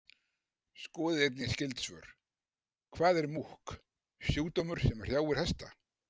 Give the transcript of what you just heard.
Skoðið einnig skyld svör: Hvað er múkk, sjúkdómur sem hrjáir hesta?